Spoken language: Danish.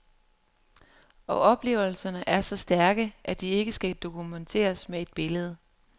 Og oplevelserne er så stærke, at de ikke skal dokumenteres med et billede.